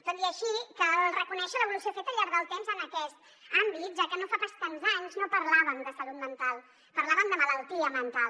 tot i així cal reconèixer l’evolució feta al llarg del temps en aquest àmbit ja que no fa pas tants anys no parlàvem de salut mental parlàvem de malaltia mental